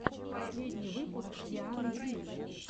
последний выпуск дианы ди